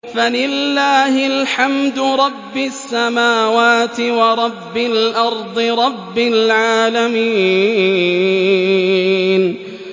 فَلِلَّهِ الْحَمْدُ رَبِّ السَّمَاوَاتِ وَرَبِّ الْأَرْضِ رَبِّ الْعَالَمِينَ